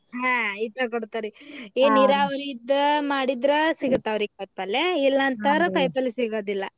ಹಾ ಏನ ನೀರಾವರಿ ಇದ್ದ ಮಾಡಿದ್ರ ಸಿಗ್ತಾವ್ರಿ ಕಾಯಿಪಲ್ಲೆ ಇಲ್ಲಾ ಅಂತ ಅಂದ್ರ ಕಾಯಿಪಲ್ಲೆ ಸಿಗೋದಿಲ್ಲಾ.